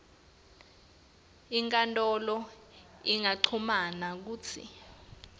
inkantolo ingancuma kutsi